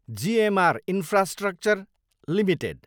GMR infrastructure Ltd